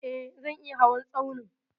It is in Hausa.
E, zan iya hawan tsaunin.